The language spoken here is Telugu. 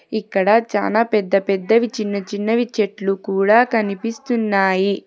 ఇక్కడ చాలా పెద్ద పెద్దవి చిన్న చిన్నవి చెట్లు కూడా కనిపిస్తున్నాయి.